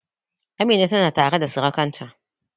Amina tana tare da surukanta